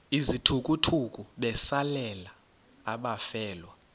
izithukuthuku besalela abafelwa